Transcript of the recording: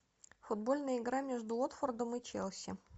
футбольная игра между уотфордом и челси